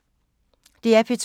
DR P2